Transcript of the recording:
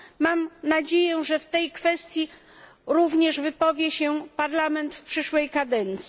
Mam nadzieję, że w tej kwestii również wypowie się Parlament w przyszłej kadencji.